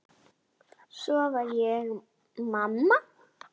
Svo varð ég mamma.